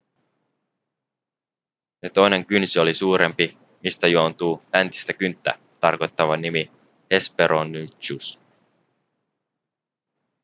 sen toinen kynsi oli suurempi mistä juontuu läntistä kynttä tarkoittava nimi hesperonychus